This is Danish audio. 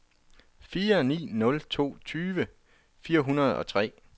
fire ni nul to tyve fire hundrede og tre